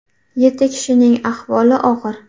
Yetti kishining ahvoli og‘ir.